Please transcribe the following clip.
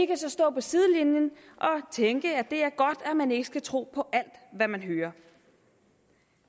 kan så stå på sidelinjen og tænke at det er godt at man ikke skal tro på alt hvad man hører